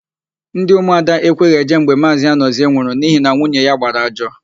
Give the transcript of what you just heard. Ndị ụmụada ekweghị eje mgbe Maazị Anọzie nwụrụ n'ihi na nwunye ya gbara ajọ.